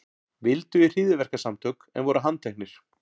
Vildu í hryðjuverkasamtök en voru handteknir